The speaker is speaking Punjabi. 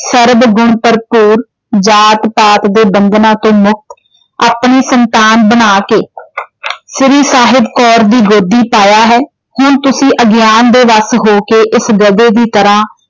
ਸਰਬਗੁਣ ਭਰਪੂਰ ਜਾਤਪਾਤ ਦੇ ਬੰਧਨਾਂ ਤੋਂ ਮੁਕਤ ਆਪਣੀ ਸੰਤਾਨ ਬਣਾਕੇ ਸ਼੍ਰੀ ਸਾਹਿਬ ਕੌਰ ਦੀ ਗੋਦੀ ਪਾਇਆ ਹੈ। ਹੁਣ ਤੁਸੀਂ ਅਗਿਆਨ ਦੇ ਬਸ ਹੋ ਕੇ ਇਸ ਗਧੇ ਦੀ ਤਰਾਂ ।